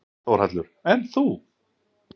Þórhallur: Ekki þú?